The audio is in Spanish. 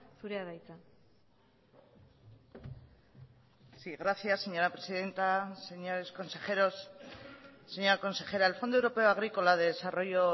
zurea da hitza sí gracias señora presidenta señores consejeros señora consejera el fondo europeo agrícola de desarrollo